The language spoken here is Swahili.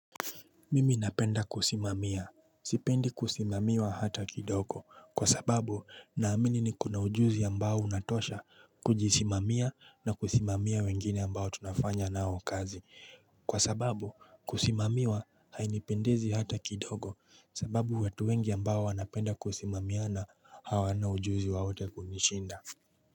Mimi napenda kusimamia. Sipendi kusimamiwa hata kidogo kwa sababu naamini niko na ujuzi ambao unatosha kujisimamia na kusimamia wengine ambao tunafanya nao kazi. Kwa sababu kusimamiwa hainipendezi hata kidogo sababu watu wengi ambao wanapenda kusimamiana hawana ujuzi wowote kunishinda.